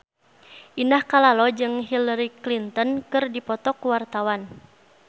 Indah Kalalo jeung Hillary Clinton keur dipoto ku wartawan